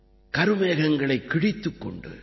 கருமேகங்களைக் கிழித்துக் கொண்டு